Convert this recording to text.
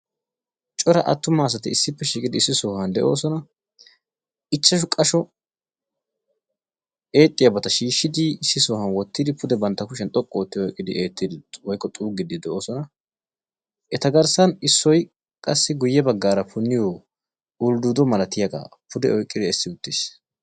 Cora atuma asatti issippe shiiqqiddi issi sohuwan de'osonna. Ichchashshu qasho eexxiyabatta shiishshiddi issippe de'osonna. Etta matan eexxiyabatti de'osonna.